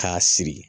K'a siri